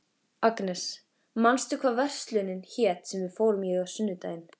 Agnes, manstu hvað verslunin hét sem við fórum í á sunnudaginn?